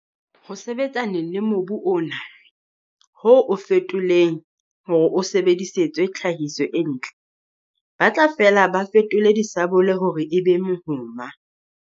Ho sebetsaneng le mobu ona, ho o fetoleng hore o sebedisetswe tlhahiso e ntle, ba tla fela ba fetole disabole hore e be mehoma.